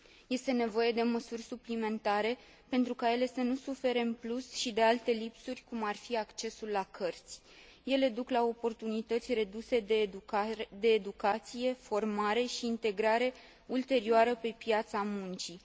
Este nevoie de măsuri suplimentare pentru ca ele să nu sufere în plus și de alte lipsuri, cum ar fi accesul la cărți. Ele duc la oportunități reduse de educație, formare și integrare ulterioară pe piața muncii.